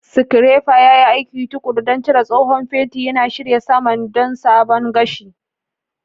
Scraper ya yi aiki tuƙuru don cire tsohon fenti, yana shirya saman don sabon gashi.